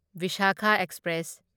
Visakha express